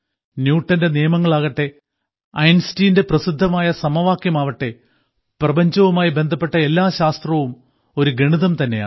ന്യൂട്ടന്റെ നിയമങ്ങളാകട്ടെ ഐൻസ്റ്റീന്റെ പ്രസിദ്ധമായ സമവാക്യമാകട്ടെ പ്രപഞ്ചവുമായി ബന്ധപ്പെട്ട എല്ലാ ശാസ്ത്രവും ഒരു ഗണിതം തന്നെയാണ്